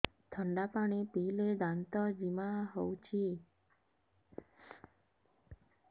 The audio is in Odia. ଥଣ୍ଡା ପାଣି ପିଇଲେ ଦାନ୍ତ ଜିମା ହଉଚି